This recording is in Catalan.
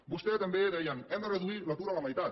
vostès també deien hem de reduir l’atur a la meitat